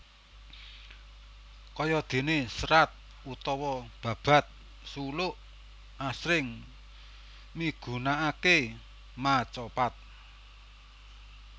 Kaya déné serat utawa babad suluk asring migunakaké macapat